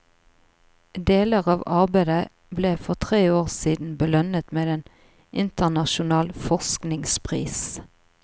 Deler av arbeidet ble for tre år siden belønnet med en internasjonal forskningspris.